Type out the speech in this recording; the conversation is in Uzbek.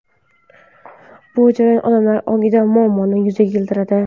Bu jarayon odamlar ongida muammoni yuzaga keltiradi.